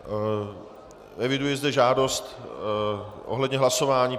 Eviduji zde žádost ohledně hlasování.